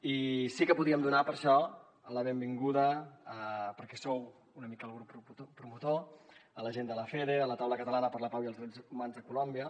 i sí que podíem donar per això la benvinguda perquè en sou una mica el grup promotor a la gent de lafede a la taula catalana per la pau i els drets humans a colòmbia